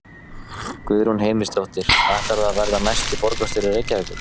Guðrún Heimisdóttir: Ætlarðu að verða næsti borgarstjóri Reykjavíkur?